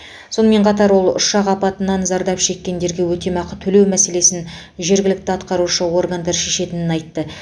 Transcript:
сонымен қатар ол ұшақ апатынан зардап шеккендерге өтемақы төлеу мәселесін жергілікті атқарушы органдар шешетінін айтты